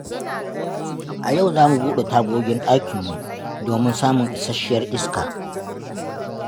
A yau za mu buɗe tagogin ɗakinmu domin samun isasshiyar iska.